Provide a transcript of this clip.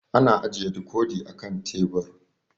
Ana ajiye dikodi a kan tebur